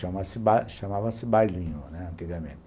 Chama-se chamava-se bailinho, né, antigamente.